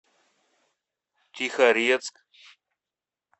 тихорецк